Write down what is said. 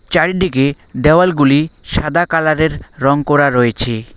চারিডিকে দেওয়ালগুলি সাদা কালারের রং করা রয়েছে।